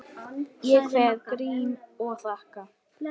Ég kveð Grím og þakka.